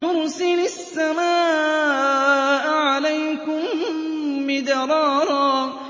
يُرْسِلِ السَّمَاءَ عَلَيْكُم مِّدْرَارًا